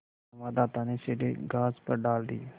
संवाददाता ने सीढ़ी घास पर डाल दी